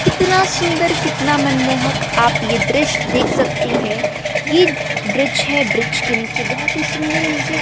कितना सुंदर कितना मनमोहक आप ये दृश्य देख सकते है ये ब्रिज है ब्रिज के नीचे बहोत ही सुंदर मुझे --